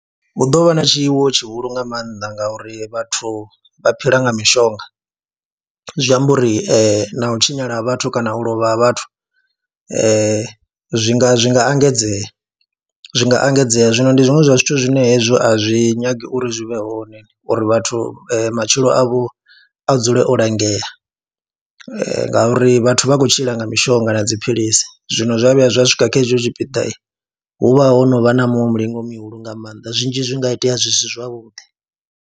Hu ḓo vha na tshiwo tshihulu nga maanḓa ngauri vhathu vha phila nga mishonga, zwi amba uri na u tshinyala vhathu kana u lovha vhathu zwi nga zwi nga engedzea, zwi nga engedzea. Zwino ndi zwiṅwe zwa zwithu zwine hezwo a zwi nyagi uri zwi vhe hone uri vhathu matshilo avho a dzule o langea ngauri vhathu vha khou tshila nga mishonga na dziphilisi, zwino zwa vhuya zwa swika kha hetsho tshipiḓa hu vha ho no vha na muṅwe mulingo mihulu nga maanḓa zwinzhi zwi nga itea zwi si zwavhuḓi.